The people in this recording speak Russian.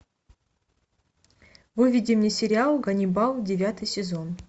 выведи мне сериал ганнибал девятый сезон